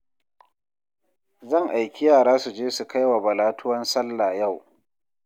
Zan aiki yara su je su kai wa Bala tuwon sallah yau